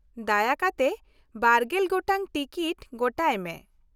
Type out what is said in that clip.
ᱫᱟᱭᱟ ᱠᱟᱛᱮ ᱵᱟᱨᱜᱮᱞ ᱜᱚᱴᱟᱝ ᱴᱤᱠᱤᱴ ᱜᱚᱴᱟᱭ ᱢᱮ ᱾